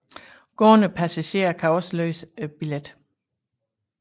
Gående passagerer kan også løse billet